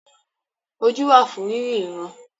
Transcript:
Ojú wà fún rírí ìran.